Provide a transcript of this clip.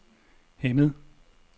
Hemmet